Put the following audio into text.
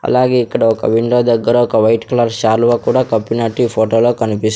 అలాగే ఇక్కడ ఒక విండో దగ్గర ఒక వైట్ కలర్ శాలువా కూడా కప్పిన్నట్టు ఈ ఫోటో లో కనిపిస్ --